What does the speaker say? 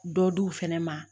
Dɔ di u fɛnɛ ma